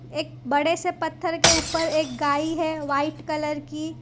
एक बड़े से पत्थर के ऊपर एक गाई व्हाइट कलर की।